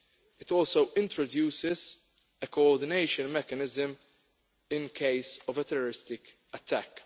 It also introduces a coordination mechanism in case of a terrorist attack.